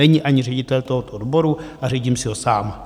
Není ani ředitel tohoto odboru - a řídím si ho sám.